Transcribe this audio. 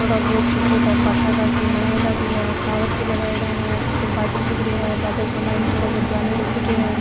थोड़ा बहुत छोटा छोटा भाटा का की बनायड़ा भी है टॉवर भी लगायेड़ा है ऊपर बादल दिख रहा है बादल के माइन थोड़ा बहुत जानवर उड़ रहा है।